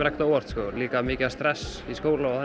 ekkert á óvart sko líka mikið stress í skólanum